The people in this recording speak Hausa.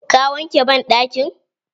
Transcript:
Ka wanke banɗakin?